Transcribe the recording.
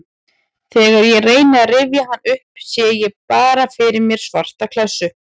Þegar ég reyni að rifja hann upp sé ég bara fyrir mér svarta klessu.